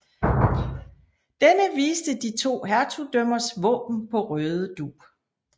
Denne viste de to hertugdømmers våben på rød dug